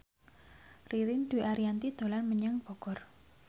Ririn Dwi Ariyanti dolan menyang Bogor